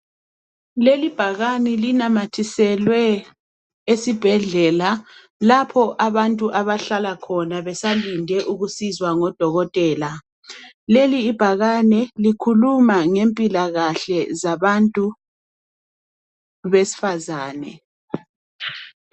lelibhakane linamathiselwe esibhedlela lapho abantu bahlala khona besalinde ukusizwa ngo dokotela leli ibhakane likhuluma ngempilakahle zabantu besifazane